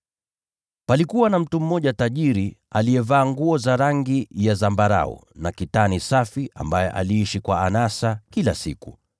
“Palikuwa na mtu mmoja tajiri aliyevaa nguo za rangi ya zambarau na kitani safi, ambaye aliishi kwa anasa kila siku.